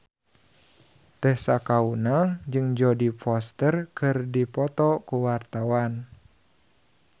Tessa Kaunang jeung Jodie Foster keur dipoto ku wartawan